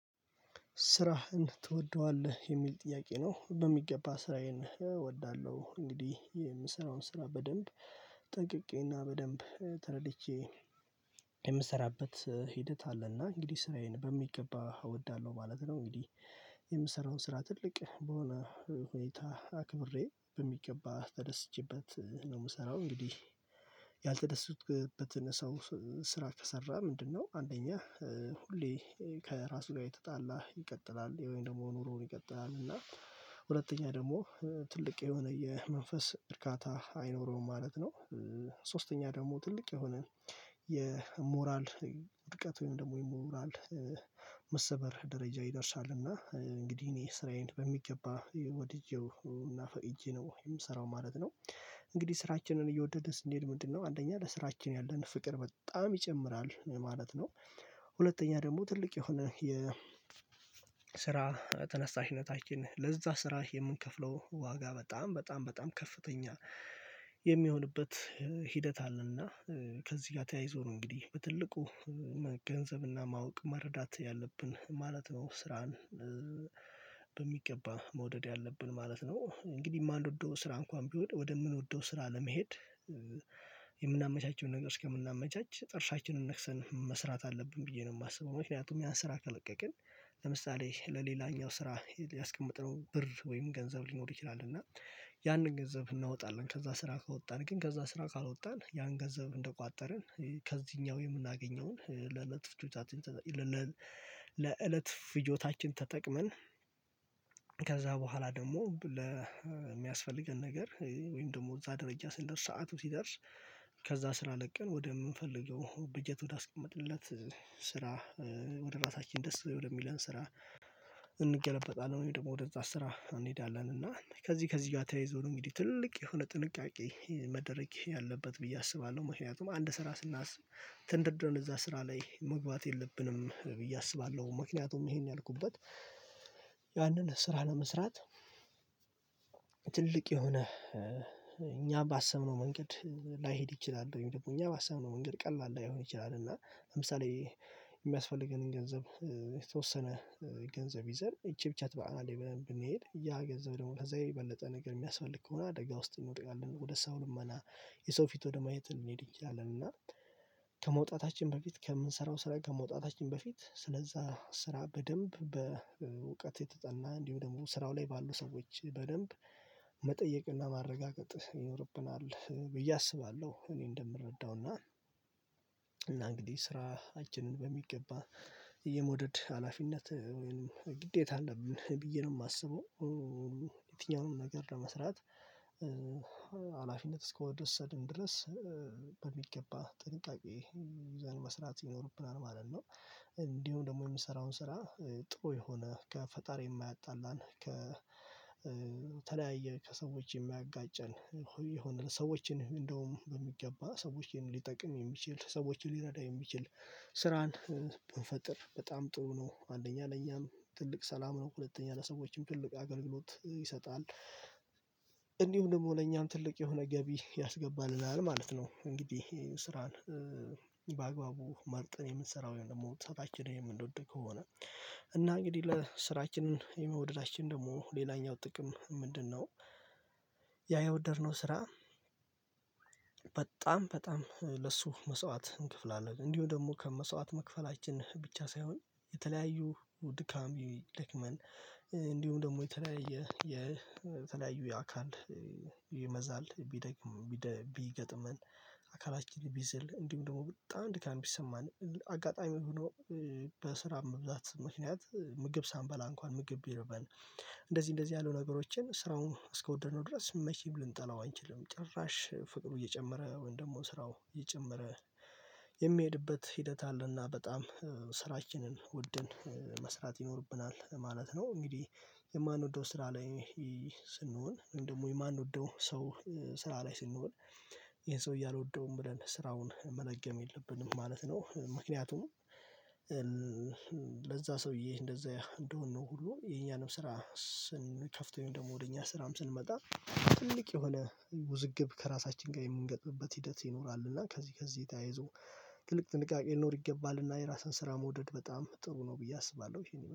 ስራህን ትወደዋለህ የሚል ጥያቄ ነው? በሚገባ ስራዬን እወዳለሁ እንግዲህ የምሰራውን ስራ በደንብ ጠቅቄና በደንብ ተረድቼ የምሰራበት ሂደት አለና እንግዲህ ስራዬን በሚገባ እወዳለሁ ማለት ነው። እንግዲህ የምሰራውን ስራ ትልቅ በሆነ ሁኔታ አክብሬ በሚገባ ተደስቼበት ነው የምሰራው። እንግዲህ ያልተደሰቱት በተነሳው ስራ ከሰራ ምንድነው? አንደኛ ሁሌ ከራሱ ጋር የተጣላ ይቀጥላል የወይን ደግሞ ኑሮውን ይቀጥላል እና ሁለተኛ ደግሞ ትልቅ የሆነ የመንፈስ እርካታ አይኖረውም ማለት ነው። ሶስተኛ ደግሞ ትልቅ የሆነ የሞራል ድርቀት ወይም ደግሞ የሞራል መሰበር ደረጃ ይደርሳል። እና እንግዲህ እኔ ስራዬን በሚገባ ወድጄው እና ፈእጄ ነው የምሰራው ማለት ነው። እንግዲህ ስራችንን እየወደደ ስንሄድ ምንድነው አንደኛ ለስራችን ያለን ፍቅር በጣም ይጨምራል ማለት ነው። ሁለተኛ ደግሞ ትልቅ የሆነ የስራ ተነሳሽነታችን ለዛ ስራ የምንከፍለው ዋጋ በጣም በጣም በጣም ከፍተኛ የሚሆንበት ሂደት አለና ከዚህ ጋር ተያይዞ ነው። እንግዲህ በትልቁ መገንዘብና ማወቅ መረዳት ያለብን ማለት ነው ስራን በሚገባ መውደድ ያለብን ማለት ነው። እንግዲህ የማንወደው ስራ እንኳን ቢወድ ወደ ምንወደው ስራ ለመሄድ የምናመቻችም ነገር እስከምናመቻች ጥርሻችንን ነክሰን መስራት አለብን ብዬ ነው የማስበው። ምክንያቱም ያን ስራ ተለቀቅን ለምሳሌ ለሌላኛው ስራ ያስቀመጥነው ብር ወይም ገንዘብ ሊኖር ይችላል። እና ያንን ገንዘብ እናወጣለን ከዛ ስራ ከወጣን ግን ከዛ ስራ ካልወጣን ያን ገንዘብ እንደቋጠርን ከዚህኛው የምናገኘውን ለእለት ፍጆታችን። ለእለት ፍጆታችን ተጠቅመን ከዛ በኋላ ደግሞ ለሚያስፈልገን ነገር ወይም ደግሞ እዛ ደረጃ ስንደርስ ሰዓቱ ሲደርስ። ከዛ ስራ ለቀን ወደምንፈልገው በጀት ወዳስቀመጥለት ስራ ወደ ራሳችን ደስ ወደሚለን ስራ እንገለበጣለን ወይም ደግሞ ወደዛ ስራ እንሄዳለን። እና ከዚህ ከዚህ ጋር ተያይዞ ነው የሚለው ትልቅ የሆነ ጥንቃቄ መደረግ ያለበት ብዬ አስባለሁ። ምክንያቱም አንድ ስራ ስናስብ ትንደርደርን እዛ ስራ ላይ መግባት የለብንም ብዬ አስባለሁ ምክንያቱም ይሄን ያልኩበት ያንን ስራ ለመስራት ትልቅ የሆነ እኛ ባሰምነው መንገድ ላይሄድ ይችላል። ደግሞ እኛ ባሰምነው መንገድ ቀላል ላይሆን ይችላል። እና ለምሳሌ የሚያስፈልገንን ገንዘብ የተወሰነ ገንዘብ ይዘን ይቺ ብቻ ትበቃናለን ብለን ብንሄድ ያ ገንዘብ ደግሞ እንደዛ የበለጠ ነገር የሚያስፈልግ ከሆነ አደጋ ውስጥ እንወጣለን ወደ ሳውን ልመና የሰው ፊት ወደ ማየት እንሄድ እንችላለን። እና ከመውጣታችን በፊት ከምንሰራው ስራ ከመውጣታችን በፊት ስለዛ ስራ በደንብ በእውቀት የተጸና እንዲሁ ደግሞ ስራው ላይ ባሉ ሰዎች በደንብ መጠየቅና ማረጋገጥ ይኖርብናል ብዬ አስባለሁ። እኔ እንደምረዳውና እንግዲህ ስራችንን በሚገባ የመውደድ ሀላፊነት ወይንም ግዴታ አለብን ብዬ ነው የማስበው። የትኛውንም ነገር ለመስራት ሀላፊነት እስከወደድን ድረስ በሚገባ ጥንቃቄ ይዘን መስራት ይኖርብናል ማለት ነው። እንዲሁ ደግሞ የምሰራውን ስራ ጥሩ የሆነ ከፈጣሪ የማያጣላን ከተለያየ ከሰዎች የሚያጋጭን ይሆን ሰዎችን እንደውም በሚገባ ሰዎችን ሊጠቅም የሚችል ሰዎችን ሊረዳ የሚችል ስራን ብንፈጥር በጣም ጥሩ ነው አንደኛ ለእኛም ትልቅ ሰላም ነው ሁለተኛ ለሰዎችም ትልቅ አገልግሎት ይሰጣል። እንዲሁም ደግሞ ለእኛም ትልቅ የሆነ ገቢ ያስገባል እዛ ላይ ማለት ነው። እንግዲህ ስራን በአግባቡ ማርጠን የምንሰራው ደግሞ ታች ስራችንን የምንወድ ከሆነ እና እንግዲህ ለስራችን የሚወደዳችን ደግሞ ሌላኛው ጥቅም ምንድነው? ያ ያወደድነው ስራ በጣም በጣም ለሱ መስዋዕት እንክፍላለን እንዲሁ ደግሞ መስዋዕት መክፈላችን ብቻ ሳይሆን የተለያዩ ውድካም ይደክመን እንዲሁም ደግሞ የተለያየ የተለያዩ የአካል ይመዛል ቢገጥመን አካላችንን ቢዝል እንዲሁም ደግሞ በጣም ድካም ቢሰማን አጋጣሚ ሆኖ በስራ መብዛት ምክንያት ምግብ ሳንበላ እንኳን ምግብ ቢርበን እንደዚህ እንደዚህ ያሉ ነገሮችን ስራውን አስወደድነው ድረስ መቼም ልንጠላው አንችልም ጭራሽ ፍቅሩ እየጨመረ ወይም ደግሞ ስራው እየጨመረ የሚሄድበት ሂደት አለና በጣም ስራችንን ውድን መስራት ይኖርብናል ማለት ነው። እንግዲህ የማንወደው ስራ ላይ ስንሆን እንደውም የማንወደው ሰው ስራ ላይ ስንሆን ይሄን ሰው እያልወደውም ብለን ስራውን መልገም የለብንም ማለት ነው። ምክንያቱም ለዛ ሰውዬ እንደዛ እንደሆንን ነው ሁሉ የኛንም ስራ ስንከፍተኝ ደግሞ ወደ እኛ ስራም ስንመጣ ትልቅ የሆነ ውዝግብ ከራሳችን ጋር የምንገጥምበት ሂደት ይኖራል። እና ከዚህ ከዚህ ተያይዞ ትልቅ ጥንቃቄ ልኖር ይገባልና የራስህን ስራ መውደድ በጣም ጥሩ ነው ብዬ አስባለሁ